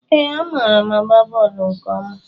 Ee, amaara m agba bọọlụ nke ọma